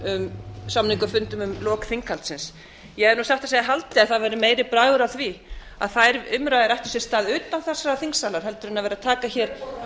um samningafundum um lok þinghaldsins ég hefði nú satt að segja haldið að það væri meiri bragur á því að þær umræður ættu sér stað utan þessa þingsalar